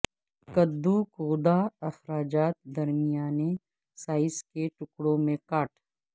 قددو گودا اخراجات درمیانے سائز کے ٹکڑوں میں کاٹ